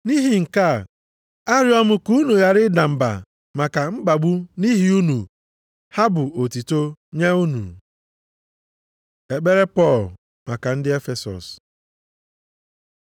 Nʼihi nke a, arịọ m ka unu ghara ịda mba maka mkpagbu m nʼihi unu, ha bụ otuto nye unu. Ekpere Pọl maka ndị Efesọs